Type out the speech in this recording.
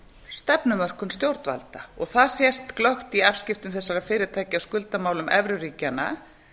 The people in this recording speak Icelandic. stefnumörkun stjórnvalda það sést glöggt í afskiptum þessara fyrirtækja af skuldamálum evruríkjanna